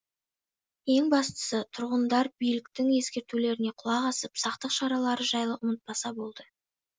ең бастысы тұрғындар биліктің ескертулеріне құлақ асып сақтық шаралары жайлы ұмытпаса болды